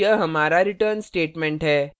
और यह हमारा return statement है